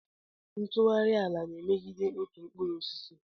Ntughari ala na-emegide otu mkpụrụ osisi.